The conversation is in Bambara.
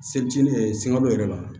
Seli yɛrɛ sekalo yɛrɛ b'a la